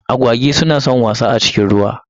Agwagi su na san wasa a cikin ruwa.